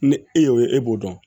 Ni e y'o ye e b'o dɔn